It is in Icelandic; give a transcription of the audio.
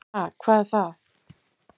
Ha, hvað er það.